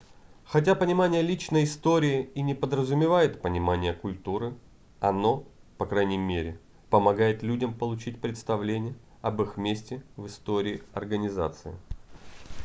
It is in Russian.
хотя понимание личной истории и не подразумевает понимание культуры оно по крайней мере помогает людям получить представление об их месте в истории организации